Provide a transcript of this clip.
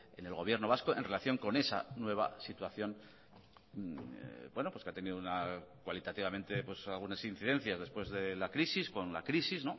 en el gobierno vasco en relación con esa nueva situación que ha tenido una cualitativamente algunas incidencias después de la crisis con la crisis